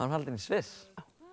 haldin í Sviss